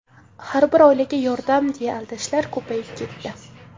"har bir oilaga yordam" deya aldashlar ko‘payib ketdi.